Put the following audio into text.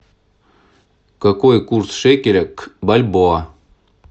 какой курс шекеля к бальбоа